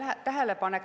Õige tähelepanek.